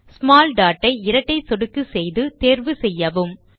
small dot I இரட்டை சொடுக்கு செய்து தேர்வு செய்யவும்